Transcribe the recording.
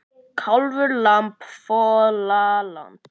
Kálfur, lamb, folald.